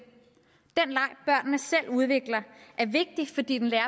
den selv udvikler er vigtig fordi den lærer